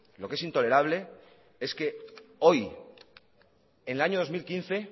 lo que es intolerable es que hoy en el año dos mil quince